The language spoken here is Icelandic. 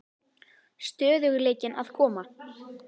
Stöðugleikinn að koma?